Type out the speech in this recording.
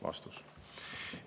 " Vastus.